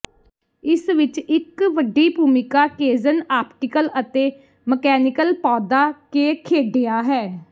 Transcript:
ਇਸ ਵਿਚ ਇਕ ਵੱਡੀ ਭੂਮਿਕਾ ਕੇਜ਼ਨ ਆਪਟੀਕਲ ਅਤੇ ਮਕੈਨੀਕਲ ਪੌਦਾ ਕੇ ਖੇਡਿਆ ਹੈ